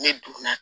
Ne donna